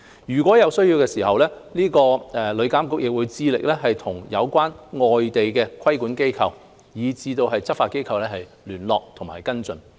如有需要，旅監局會致力與有關的外地規管機構及執法機構聯絡及跟進。